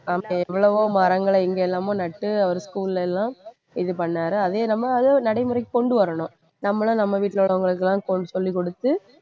எவ்வளவோ மரங்களை எங்கெல்லாமோ நட்டு அவர் school ல எல்லாம் இது பண்ணாரு அதையும் நம்ம அதை நடைமுறைக்குக்கொண்டு வரணும் நம்மளும் நம்ம வீட்டுல உள்ளவங்களுக்கு எல்லாம் சொல்லிக்கொடுத்து